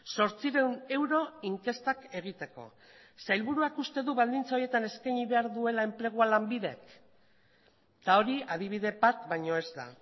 zortziehun euro inkestak egiteko sailburuak uste du baldintza horietan eskaini behar duela enplegua lanbidek eta hori adibide bat baino ez da